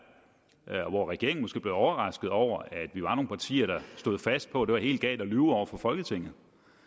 og hvor regeringen måske blev overrasket over at vi var nogle partier der stod fast på at det var helt galt at lyve over for folketinget